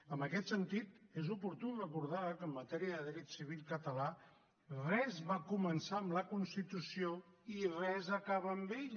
en aquest sentit és oportú recordar que en matèria de dret civil català res va començar amb la constitució i res acaba amb ella